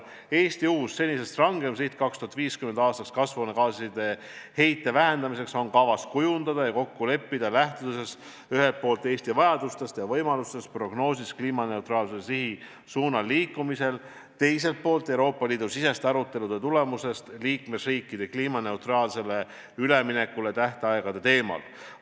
Eesti uus, senisest kõrgem siht 2050. aastaks kasvuhoonegaaside heite vähendamiseks on kavas kujundada ja kokku leppida, lähtudes ühelt poolt Eesti vajadustest ja prognoositavatest võimalustest kliimaneutraalsuse suunas liikumisel, teiselt poolt tulemustest, mis saavutatakse Euroopa Liidu sisestes aruteludes liikmesriikide kliimaneutraalsele majandusele ülemineku tähtaegade teemal.